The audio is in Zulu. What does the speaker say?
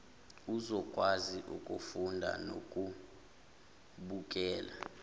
uzokwazi ukufunda nokubukela